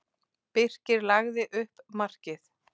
Birkir lagði upp markið.